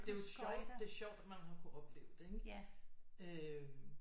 Det er jo sjovt det er sjovt at han har kunnet opleve det ikke